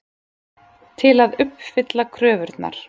Til að uppfylla kröfurnar.